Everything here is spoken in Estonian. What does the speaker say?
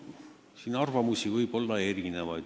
Siin võib olla erinevaid arvamusi.